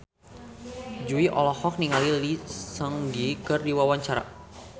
Jui olohok ningali Lee Seung Gi keur diwawancara